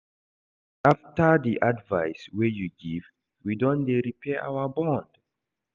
After di advice wey you give, we don dey repair our bond.